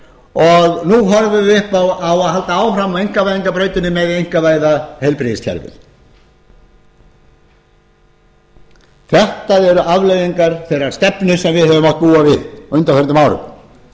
og nú horfum við upp á að það á að halda áfram á einkavæðingarbrautinni með því að einkavæða heilbrigðiskerfið þetta eru afleiðingar þeirrar stefnu sem við höfum mátt búa á undanförnum árum undanfarnar vikur og